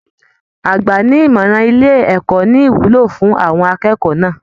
Àgbàni-ní-ìmọràn ilé ẹ̀kọ́ ní ìwúlò fún àwọn akẹ́kọ̀ọ́ náà.